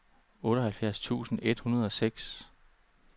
otteoghalvfjerds tusind et hundrede og seks